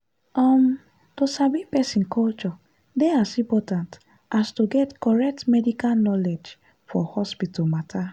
uhm to sabi person culture dey as important as to get correct medical knowledge for hospital matter.